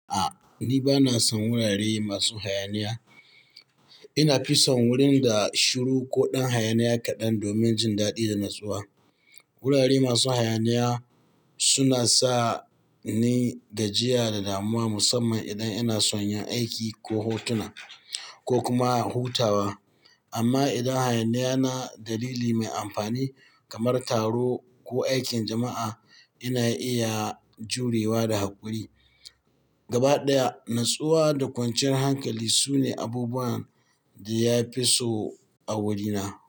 A'a, ni ba na son wurare masu hayaniya. Ina fi son wurin da shiru ko ɗan hayaniya kaɗan domin jin daɗi da natsuwa. Wurare masu hayaniya suna sa ni da jiya da damuwa musamman idan ina son yin aiki ko hotuna ko kuma hutawa. Amma idan hayaniyan na dalili mai amfani kamar taro ko aikin jama'a, ina iya jurewa da haƙuri. Gaba ɗaya, natsuwa da kwanciyar hankali sune abubuwan da ya fi so a wurina.